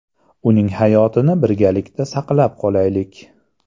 Uning hayotini birgalikda saqlab qolaylik!.